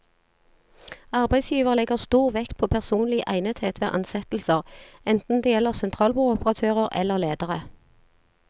Arbeidsgiver legger stor vekt på personlig egnethet ved ansettelser, enten det gjelder sentralbordoperatører eller ledere.